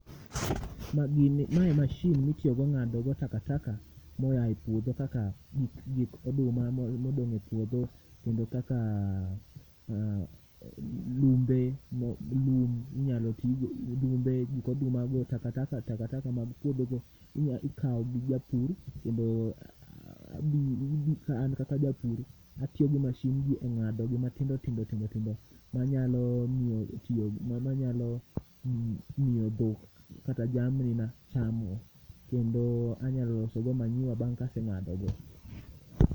Ma gini mae mashin mitiyogo ng'adogo takataka moya e puodho kaka gik oduma modong' e puodho. Kendo kaka lum be, lum inyalo tigo, lum be gik oduma go takataka, takataka mag puodho go inya ikao gi japur. Kendo abu an kan kaka japur, atiyo gi mashin gi e ng'adogi matindo tindo tindo, manyalo miyo tiyo manyalo miyo dhok kata jamni ma chamo. Kendo anyalosogo manyiwa bang' kaseng'adogo.